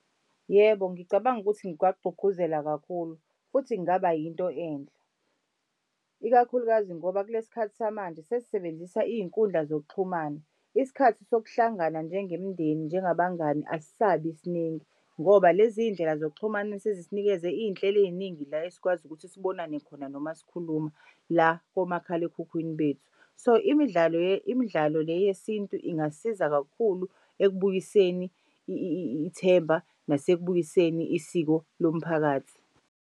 Yebo, ngicabanga ukuthi ngiwagqugquzela kakhulu futhi kungaba yinto enhle, ikakhulukazi ngoba kulesi khathi samanje sesisebenzisa iy'nkundla zokuxhumana. Isikhathi sokuhlangana njengemndeni njengabangani asisabi siningi ngoba lezi iy'ndlela zokuxhumana sezisinikeze iy'nhlelo ey'ningi la esikwazi ukuthi sibonane khona noma sikhuluma la komakhalekhukhwini bethu. So imidlalo imidlalo le yesintu ingasiza kakhulu ekubuyiseni ithemba nasekubuyiseni isiko lomphakathi.